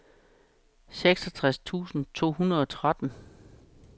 seksogtres tusind to hundrede og tretten